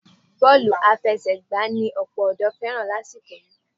Bọ́ọ̀lù àfẹsẹ̀gbà ni ọ̀pọ̀ ọ̀dọ́ fẹ́ràn lásìkò yìí